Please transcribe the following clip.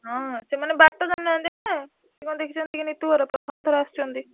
ହଁ ସେମାନେ ବାଟ ଜାଣିନାହାନ୍ତି ନା। ସେ କଣ ଦେଖିଛନ୍ତିକି ନିତୁ ଘର ପ୍ରଥମ ଥର ଆସିଛନ୍ତି।